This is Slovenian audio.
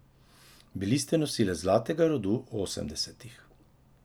Bili ste nosilec zlatega rodu osemdesetih.